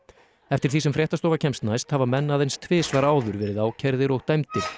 eftir því sem fréttastofa kemst næst hafa menn aðeins tvisvar áður verið ákærðir og dæmdir